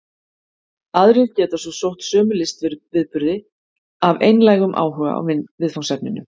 Aðrir geta svo sótt sömu listviðburði af einlægum áhuga á viðfangsefninu.